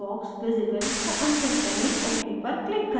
box visible को uncheck करें ok पर click करें